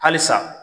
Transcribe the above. Halisa